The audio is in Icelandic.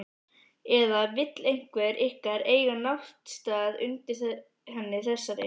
Eða vill einhver ykkar eiga náttstað undir henni þessari?